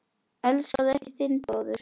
Elskaðu ekki þinn bróður.